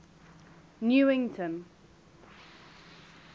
newington